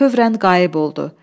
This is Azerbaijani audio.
Fövrən qayıb oldu.